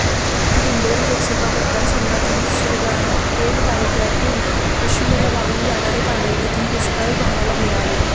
दिंडोरी लोकसभा मतदारसंघातील सुरगाणा पेठ तालुक्यातून पश्चिमेला वाहून जाणारे पाणी येथील दुष्काळी भागाला मिळावे